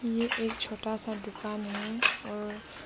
ये एक छोटा सा दुकान है और--